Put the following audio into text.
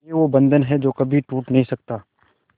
ये वो बंधन है जो कभी टूट नही सकता